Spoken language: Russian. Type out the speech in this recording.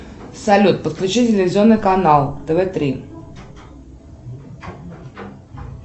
салют подключи телевизионный канал тв три